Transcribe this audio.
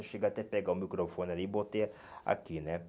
Eu cheguei até pegar o microfone ali e botei aqui, né?